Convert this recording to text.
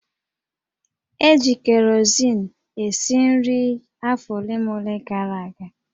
E ji kerosin esi nri afọ ole na ole gara aga